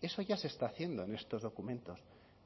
eso ya se está haciendo en estos documentos